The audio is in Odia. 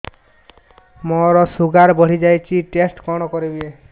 ମୋର ଶୁଗାର ବଢିଯାଇଛି ଟେଷ୍ଟ କଣ କରିବି